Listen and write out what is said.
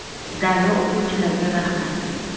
(“Daryo” o‘quvchilarga rahmat!